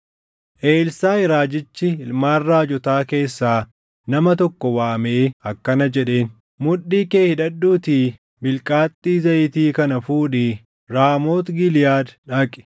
Elsaaʼi raajichi ilmaan raajotaa keessaa nama tokko waamee akkana jedheen; “Mudhii kee hidhadhuutii bilqaaxxii zayitii kana fuudhii Raamooti Giliʼaad dhaqi.